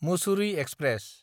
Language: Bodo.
मुसुरि एक्सप्रेस